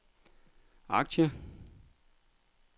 aktier